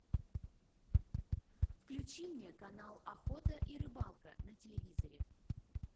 включи мне канал охота и рыбалка на телевизоре